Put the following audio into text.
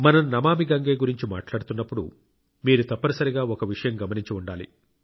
మనం నమామి గంగే గురించి మాట్లాడుతున్నప్పుడు మీరు తప్పనిసరిగా ఒక విషయం గమనించి ఉండాలి